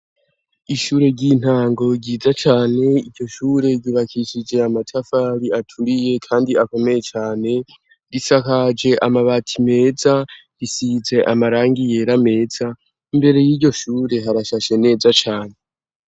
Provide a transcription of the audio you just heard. Ishure ry'intango ryiza cane iryo shure ryubakishije amatafari aturiye kandi akomeye cane risakaje amabati meza risize amarangi yera meza mbere yiyo shure harashashe neza cane.